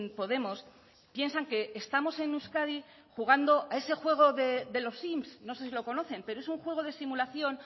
podemos piensan que estamos en euskadi jugando a ese juego de los sims no sé si lo conocen pero es un juego de simulación